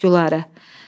Gülarə!